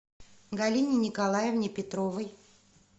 галине николаевне петровой